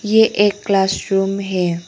ये एक class room है।